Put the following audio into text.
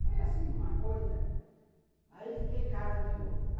Foi assim, uma coisa... Aí fiquei em casa de novo.